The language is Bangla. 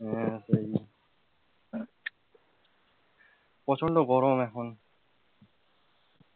হম সেই, প্রচন্ড গরম এখন,